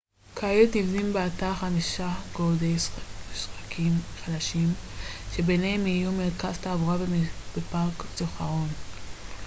כעת נבנים באתר חמישה גורדי שחקים חדשים שביניהם יהיו מרכז תעבורה ופארק זיכרון